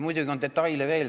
Muidugi on detaile veel.